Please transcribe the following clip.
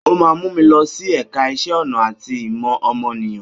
Ó máa mú mi lọ sí ẹ̀ka iṣẹ́ ọnà àti ìmọ̀ ọmọnìyàn.